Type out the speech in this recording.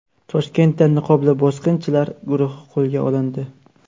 Toshkentda niqobli bosqinchilar guruhi qo‘lga olindi.